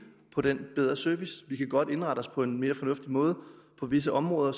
på den bedre service vi kan godt indrette os på en mere fornuftig måde på visse områder